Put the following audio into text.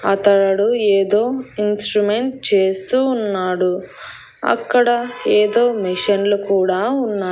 అతడు ఏదో ఇన్స్ట్రుమెంట్ చేస్తూ ఉన్నాడు అక్కడ ఏదో మిషన్లు కూడా ఉన్నాయి.